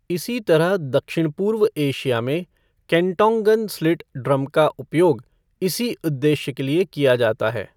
इसी तरह दक्षिण पूर्व एशिया में, केंटोंगन स्लिट ड्रम का उपयोग इसी उद्देश्य के लिए किया जाता है।